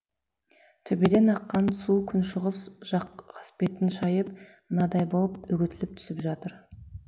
төбеден аққан су күншығыс жақ қасбетін шайып мынадай болып үгітіліп түсіп жатыр